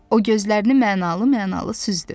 O gözlərini mənalı-mənalı süzdü.